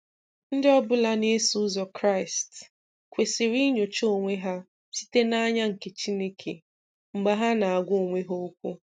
Ndị ọ bụla na eso ụzọ Kraịst kwesịrị inyocha onwe ha site na anya nke Chineke mgbe ha na-agwa onwe ha okwu.